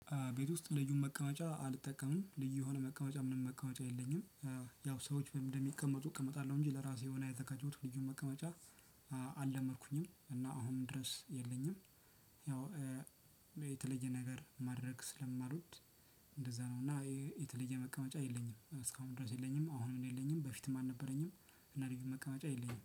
ቤት ውስጥ ልዩ መቀመጫ አልጠቀምም። ልዩ የሆነ መቀመጫ ምንም መቀመጫ የለኝም። ያው ሰዎች ምን እንደሚቀመጡ እቀመጣለሁ እንጂ ለራሴ የሆነ የተከተሉት ልዩ መቀመጫ። አልለመድኩኝም እና አሁን ድረስ የለኝም። ያው የተለየ ነገር ማድረግ ስለማልወድ። እንደዛ ነው እና የተለየ መቀመጫ የለኝም እስካሁን ድረስ የለኝም፣ አሁንም የለኝም፣ በፊትም አልነበረኝም እና እንደዚህ መቀመጫ የለኝም